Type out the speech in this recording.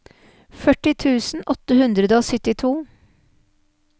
førti tusen åtte hundre og syttito